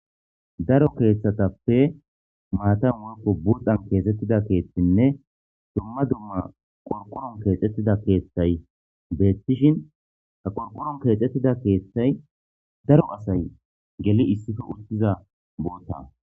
Daro keeththatappe maatan woykko buxxan keexettida keeththinne dumma dumma qorqoron keexettida keeththay beettishin ta qorqoron keexxettida keeththay daro asay geli issippe uttiza bootta.